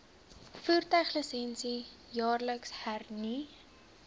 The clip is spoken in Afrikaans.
voertuiglisensie jaarliks hernu